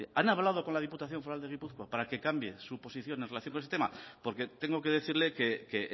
han hablado con la diputación foral de gipuzkoa para que cambien su posición en relación con este tema porque tengo que decirle que